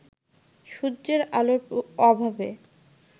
সূর্যের আলোর অভাবে